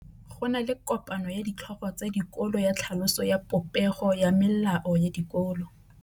Go na le kopanô ya ditlhogo tsa dikolo ya tlhaloso ya popêgô ya melao ya dikolo.